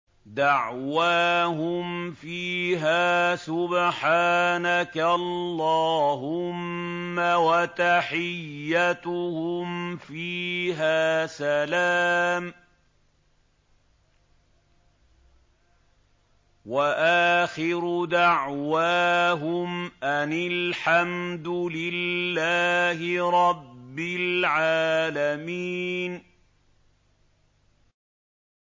دَعْوَاهُمْ فِيهَا سُبْحَانَكَ اللَّهُمَّ وَتَحِيَّتُهُمْ فِيهَا سَلَامٌ ۚ وَآخِرُ دَعْوَاهُمْ أَنِ الْحَمْدُ لِلَّهِ رَبِّ الْعَالَمِينَ